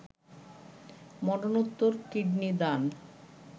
মরণোত্তর কিডনি দান